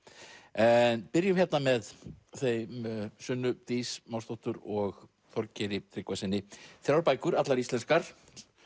en byrjum hérna með þeim Sunnu Dís og Þorgeiri Tryggvasyni þrjár bækur allar íslenskar